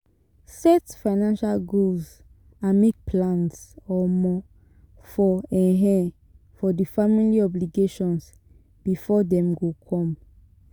Set financial goals and make plans um for um for di family obligations before dem go come